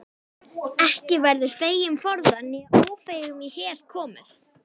Ekki verður feigum forðað né ófeigum í hel komið.